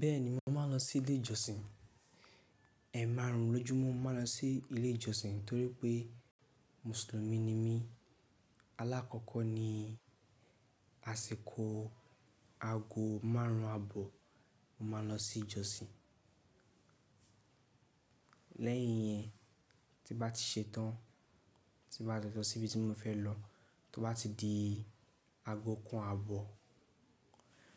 Bẹ́ẹ̀ni, mo máa ń lọ sí ilé ìjọsìn. Ẹẹ̀ẹ̀márùn lójú mo máa ń lọ sí ilé ìjọsìn torí pé mùsùlùmí ni mí. Alákọ̀kọ́ ní àsìkò aago márùn ún àbọ̀, mo máa lọ sí ìjọsìn. Lẹ́yìn yẹn, tí bá ti ṣe tán, tí bá lo si síbi tí mo fẹ́ lọ, tó bá ti di aago kan àbọ̀,